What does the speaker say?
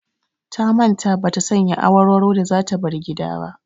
Ta manta ba ta sanya awarwaro da za ta bar gida ba.